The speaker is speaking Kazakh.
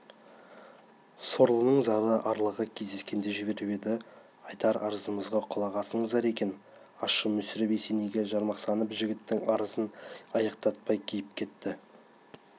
сорлының зары арлыға кездескен деп жіберіп еді айтар арызымызға құлақ ассаңыздар екен аңшы мүсіреп есенейге жарамсақтанып жігіттің арызын аяқтатпай киіп кетті